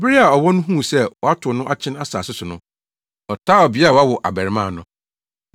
Bere a ɔwɔ no huu sɛ wɔatow no akyene asase so no, ɔtaa ɔbea a wawo abarimaa no.